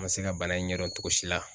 An ma se ka bana in ɲɛdɔn togo si la.